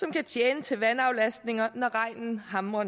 kan tjene til vandaflastning når regnen hamrer